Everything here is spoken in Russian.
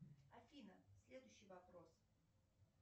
афина следующий вопрос